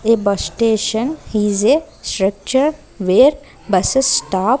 a bus station is a structure where buses stop.